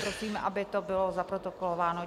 Prosím, aby to bylo zaprotokolováno.